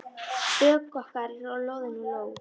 Bök okkar eru loðin af ló.